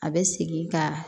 A bɛ segin ka